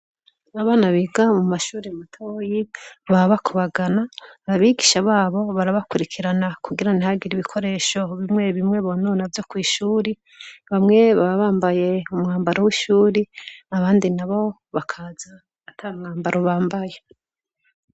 Abana biga mu mashuri matoya baba bakubagana, ababigisha babo barabakurikirana kugira ntihagiri ibikoresho bimwe bimwe bonona vyo kw'ishuri, bamwe baba bambaye umwambaro w'ishuri, abandi nabo bakaza ata mwambaro bambaye.